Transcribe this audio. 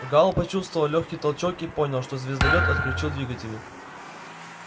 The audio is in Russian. гаал почувствовал лёгкий толчок и понял что звездолёт отключил двигатели